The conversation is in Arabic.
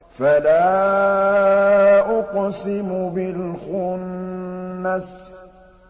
فَلَا أُقْسِمُ بِالْخُنَّسِ